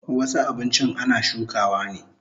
Wasu abinchin ana shukawa ne